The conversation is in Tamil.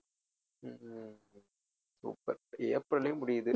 ஹம் super ஏப்ரல்ல முடியுது